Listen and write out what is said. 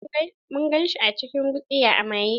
Mun gan shi a cikin gutsiya a maye.